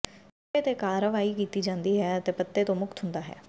ਸਿੱਟੇ ਤੇ ਕਾਰਵਾਈ ਕੀਤੀ ਜਾਂਦੀ ਹੈ ਅਤੇ ਪੱਤੇ ਤੋਂ ਮੁਕਤ ਹੁੰਦਾ ਹੈ